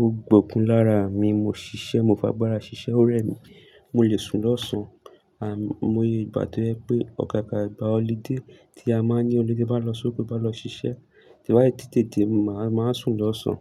ó gbókun lára mi, mo ṣiṣẹ́, mo fa agbára ṣiṣẹ́, ó rẹ mi, mo lè sùn lọ́sàn-án. Àimọ́ mo yẹ ìgbà tó jé pé, àgàagà ìgbà ọlidé tí a máa ń ní olidé bá lọ sóko, bá lọ ṣiṣẹ́, tí wáyé tètè dé, màá sùn lọ́sàn-án.